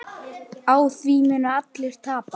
Á því munu allir tapa.